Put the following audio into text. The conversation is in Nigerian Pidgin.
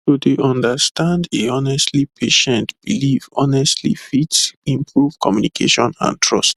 to dey understand a honestly patient belief honestly fit improve communication and trust